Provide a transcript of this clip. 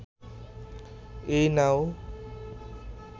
এই নাও